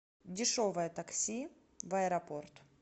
дешевое такси в аэропорт